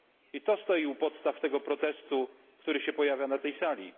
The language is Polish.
I to stoi u podstaw tego protestu, który się pojawia na tej sali.